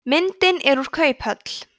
myndin er úr kauphöll